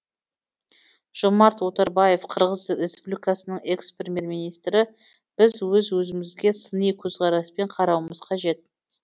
жомарт оторбаев қырғыз республикасының экс премьер министрі біз өз өзімізге сыни көзқараспен қарауымыз қажет